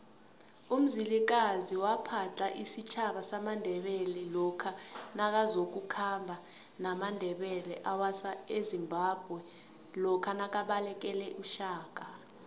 umzilikazi waphadla isitjhaba samandebele lokha nakazoku khamba namandebele awasa ezimbabwenakabalekele ushaka